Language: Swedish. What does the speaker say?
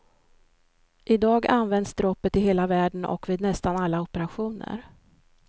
I dag används droppet i hela världen och vid nästan alla operationer.